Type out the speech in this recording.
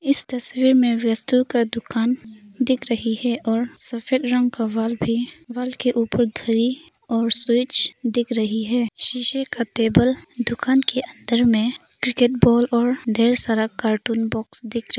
इस तस्वीर में का दुकान दिख रही है और सफेद रंग का वाल भी वाल के ऊपर घड़ी और स्विच दिख रही है शीशे का टेबल दुकान के अंदर में क्रिकेट बॉल और ढेर सारा कार्टून बॉक्स दिख रही--